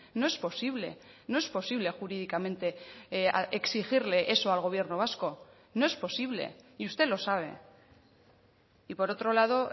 no es posible no es posible jurídicamente exigirle eso al gobierno vasco no es posible y usted lo sabe y por otro lado